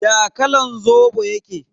Ya kalan Zobo yake?